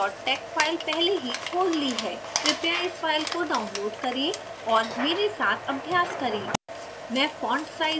मैंने report tex file पहले ही खोल ली है कृपया इस file को download करें और मेरे साथ अभ्यास करें